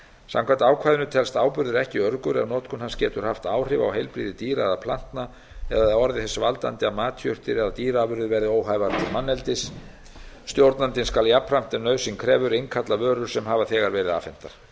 samkvæmt ákvæðinu telst áburður ekki öruggur ef notkun hans getur haft áhrif á heilbrigði dýra eða plantna eða orðið þess valdandi að matjurtir eða dýraafurðir verða óhæfar til manneldis stjórnandinn skal jafnframt ef nauðsyn krefur innkalla vörur sem hafa þegar